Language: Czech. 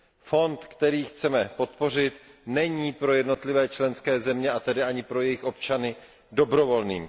Fond, který chceme podpořit, není pro jednotlivé členské země, a tedy ani pro jejich občany, dobrovolným.